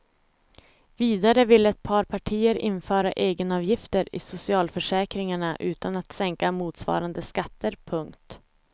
Vidare vill ett par partier införa egenavgifter i socialförsäkringarna utan att sänka motsvarande skatter. punkt